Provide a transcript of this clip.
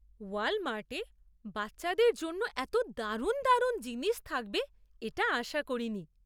ওয়ালমার্টে বাচ্চাদের জন্য এতো দারুণ দারুণ জিনিস থাকবে এটা আশা করিনি।